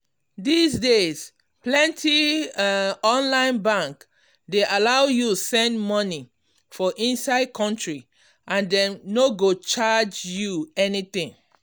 these days plenty um online bank dey allow you send money for inside country and dem no go charge you anything.